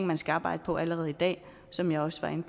man skal arbejde på allerede i dag som jeg også var inde